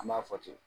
An b'a fɔ ten